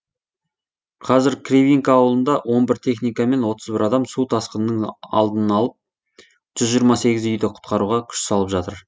қазір кривинка ауылында он бір техника мен отыз бір адам су тасқынының алдын алып жүз жиырма сегіз үйді құтқаруға күш салып жатыр